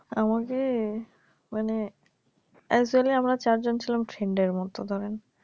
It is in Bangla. আছে আমাকে মানে একচুলি আমরা চারজন ছিলাম ফ্রেন্ডের মত ধরেন